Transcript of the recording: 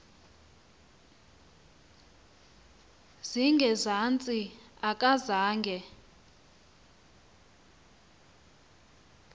zinge zantsi akazange